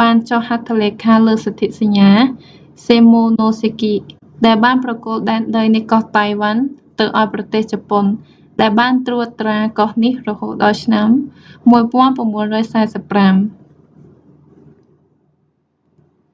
បានចុះហត្ថលេខាលើសន្ធិសញ្ញា សិម៉ូណូសេគី shimonoseki ដែលបានប្រគល់ដែនដីនៃកោះតៃវ៉ាន់ទៅឱ្យប្រទេសជប៉ុន ដែលបានត្រួតត្រាកោះនេះរហូតដល់ឆ្នាំ1945